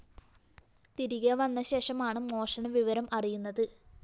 തിരികെ വന്ന ശേഷമാണ് മോഷണ വിവരം അറിയുന്നത്